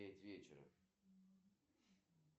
джой канал точка